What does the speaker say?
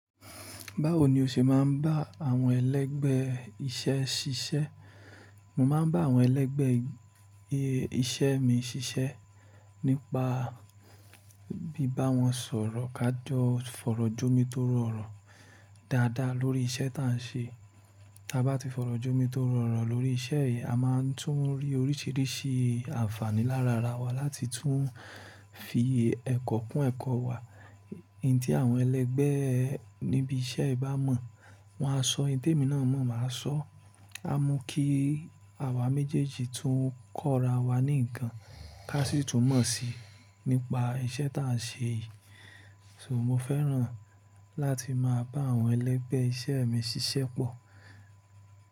Báwo ni o ṣe máa ń bá àwọn ẹlẹ́gbẹ́ iṣẹ́ ṣiṣẹ́? Mo máa ń bá àwọn ẹlẹ́gbẹ́ iṣẹ́ mi ṣiṣẹ́ nípa bí bá wọn sọ̀rọ̀ ká jọ fọ̀rọ̀jọ́mi tó rọrùn dáadáa lórí iṣẹ́ ta à ń ṣe. Tí a bá ti fọ̀rọ̀jọ́mi tó rọrùn lórí iṣẹ́ yìí, a máa tún rí oríṣìíríṣìí àǹfààní lára ara wa láti tún fi ẹ̀kọ́ kunn ẹ̀kọ́ wa. Oun ti àwọn ẹlẹ́gbẹ́ níbi iṣẹ́ ẹ bá mọ̀, wọ́n á sọ, oun temi náà mọ̀, mà á sọ. A mu kí àwa méjèèjì tún kọ́ra wa ní nǹkan ká sì tún mọ̀ síi nípa iṣẹ́ ta à ń ṣe yìí. So mo fẹ́ràn láti máa bá àwọn ẹlẹ́gbẹ́ iṣẹ́ mi ṣiṣẹ́ pọ̀.